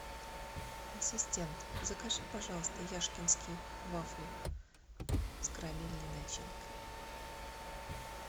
ассистент закажи пожалуйста яшкинские вафли с карамельной начинкой